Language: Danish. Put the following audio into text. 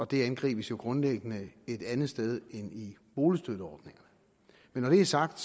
det angribes jo grundlæggende et andet sted end i boligstøtteordningerne men når det er sagt